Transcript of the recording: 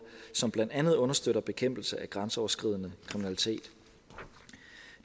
som blandt andet understøtter bekæmpelse af grænseoverskridende kriminalitet